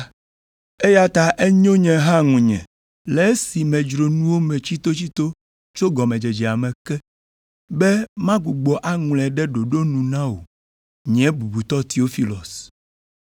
Eya ta enyo nye hã ŋunye, le esi medzro nuwo me tsitotsito tso gɔmedzedzea me ke, be magbugbɔ aŋlɔe ɖe ɖoɖo nu na wò, nye bubutɔ Teofilos,